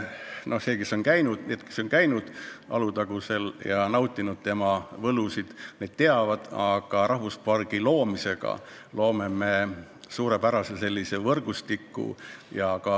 Need, kes on käinud Alutagusel ja nautinud selle paiga võlusid, teavad, et rahvuspargi loomisega loome me suurepärase võrgustiku.